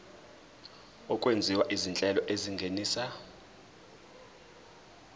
okwenziwa izinhlelo ezingenisa